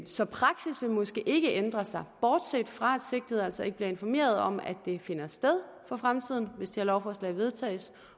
så praksis vil måske ikke ændre sig bortset fra at sigtede altså ikke bliver informeret om at det finder sted for fremtiden hvis det her lovforslag vedtages